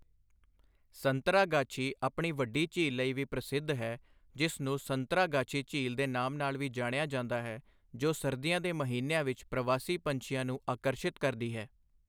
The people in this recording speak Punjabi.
ਸੰਤਰਾਗਾਛੀ ਆਪਣੀ ਵੱਡੀ ਝੀਲ ਲਈ ਵੀ ਪ੍ਰਸਿੱਧ ਹੈ, ਜਿਸ ਨੂੰ ਸੰਤਰਾਗਾਛੀ ਝੀਲ ਦੇ ਨਾਮ ਨਾਲ ਵੀ ਜਾਣਿਆ ਜਾਂਦਾ ਹੈ, ਜੋ ਸਰਦੀਆਂ ਦੇ ਮਹੀਨਿਆਂ ਵਿੱਚ ਪ੍ਰਵਾਸੀ ਪੰਛੀਆਂ ਨੂੰ ਆਕਰਸ਼ਿਤ ਕਰਦੀ ਹੈ।